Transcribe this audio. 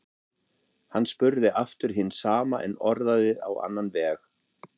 Hann spurði aftur hins sama en orðaði á annan veg.